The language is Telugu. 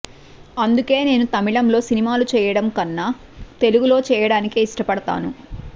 అందుకే నేను తమిళంలో సినిమాలు చేయడం కన్నా తెలుగులో చేయడానికే ఇష్టపడతాను